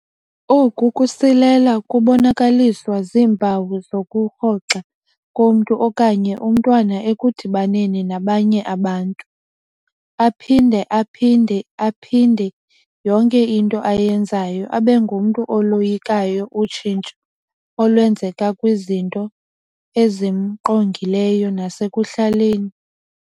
Oku kusilela kubonakaliswa ziimpawu zokurhoxa komntu okanye umntwana ekudibaneni nabanye abantu. Aphinde aphinda-phinde yonke into ayenzayo, abengumntu oloyikayo utshintsho olwenzeka kwizinto ezimngqongileyo nasekuhlaleni.